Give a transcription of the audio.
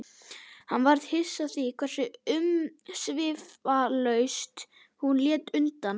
Hann varð hissa á því hversu umsvifalaust hún lét undan.